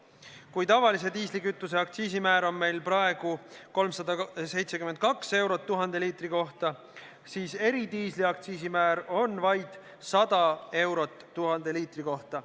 Kui tavalise diislikütuse aktsiisimäär on meil praegu 372 eurot 1000 liitri kohta, siis eridiisli aktsiisimäär on vaid 100 eurot 1000 liitri kohta.